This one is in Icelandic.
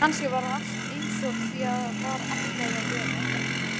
Kannski var allt einsog því var ætlað að vera.